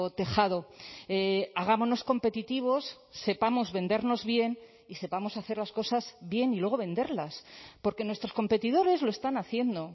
tejado hagámonos competitivos sepamos vendernos bien y sepamos hacer las cosas bien y luego venderlas porque nuestros competidores lo están haciendo